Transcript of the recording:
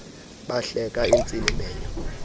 bahleka intsini menyo